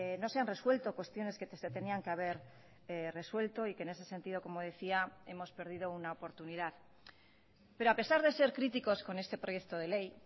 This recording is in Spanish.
no se han resuelto cuestiones que se tenían que haber resuelto y que en ese sentido como decía hemos perdido una oportunidad pero a pesar de ser críticos con este proyecto de ley